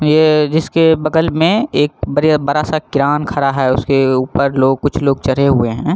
ये जिसके बगल में एक बरिया बड़ा सा क्रान खड़ा है उसके ऊपर लोग कुछ लोग चढ़े हुए हैं।